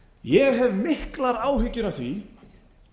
ég hef miklar áhyggjur af því